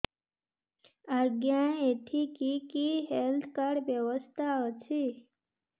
ଆଜ୍ଞା ଏଠି କି କି ହେଲ୍ଥ କାର୍ଡ ବ୍ୟବସ୍ଥା ଅଛି